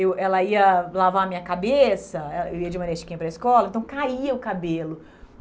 Eu ela ia lavar a minha cabeça, eu ia de Maria Chiquinha para a escola, então caía o cabelo.